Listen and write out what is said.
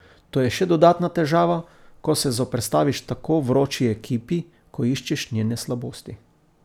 To je še dodatna težava, ko se zoperstaviš tako vroči ekipi, ko iščeš njene slabosti.